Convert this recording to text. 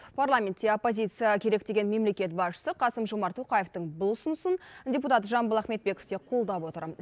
парламентте оппозиция керек деген мемлекет басшысы қасым жомарт тоқаевтың бұл ұсынысын депутат жамбыл ахметбеков те қолдап отыр